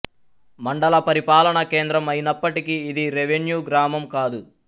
మండల పరిపాలనా కేంద్రం అయినప్పటికి ఇది రెవెన్యూ గ్రామం కాదు